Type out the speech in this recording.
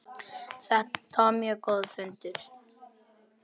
Þetta var mjög góður fundur.